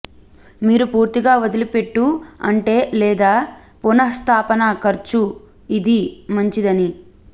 మీరు పూర్తిగా వదిలిపెట్టు ఉంటే లేదా పునఃస్థాపన ఖర్చు ఇది మంచిదని